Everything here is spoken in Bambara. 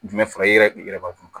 Jumɛn fara i yɛrɛ b'a kun